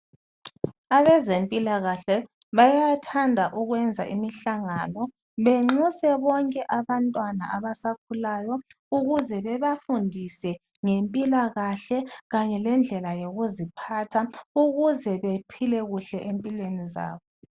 Abezempilakahle bayathanda ukwenza imihlangano benxuse bonke abantwana abasakhulayo ukuze bebafundise ngempilakahle kanye lendlela yokuziphatha ukuze bephile kuhle empilweni zabo.